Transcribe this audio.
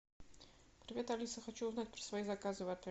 привет алиса хочу узнать про свои заказы в отеле